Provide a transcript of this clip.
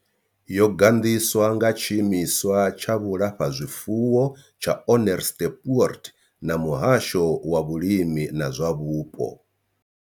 Yo gandiswa nga tshiimiswa tsha vhulafhazwifuwo tsha Onderstepoort na muhasho wa vhulimi na zwa vhupo.